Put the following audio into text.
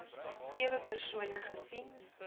sewe persone gesien